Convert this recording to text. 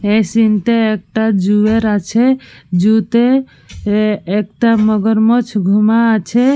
এই সিন্ টা একটা জু এর আছে। জু তে একটা মগরমাছ ঘুমা আছে।